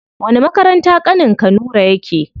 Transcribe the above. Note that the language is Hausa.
Wani makaranta ƙanin ka nura yake?